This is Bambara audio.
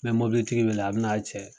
N mɛ mobilitigi weele a bi n'a cɛ